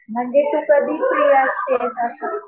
म्हणजे तू कधी फ्री असशील असं.